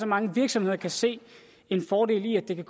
mange virksomheder kan se en fordel i at de kan